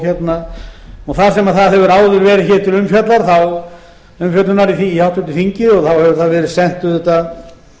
frumvarpinu og þar sem það hefur áður verið hér til umfjöllunar í háttvirtri þingi hefur það verið sent auðvitað